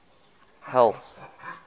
health